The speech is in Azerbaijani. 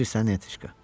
Eşidirsən, Netiçka?